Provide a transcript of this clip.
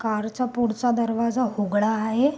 Car चा पुढचा दरवाजा हूगडा आहे.